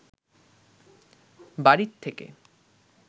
বাড়িত থেকে